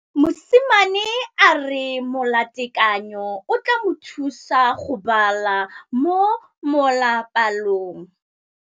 Mosimane a re molatekanyô o tla mo thusa go bala mo molapalong.